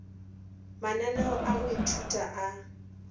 mananeo a go ithuta a